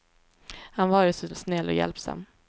Han var ju så snäll och hjälpsam.